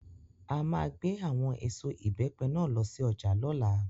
À máa gbé àwọn èso Ìbẹ́pẹ náà lọ sí ọjà lọ́la.